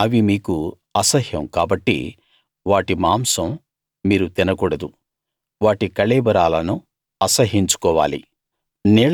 అవి మీకు అసహ్యం కాబట్టి వాటి మాంసం మీరు తినకూడదు వాటి కళేబరాలను అసహ్యించుకోవాలి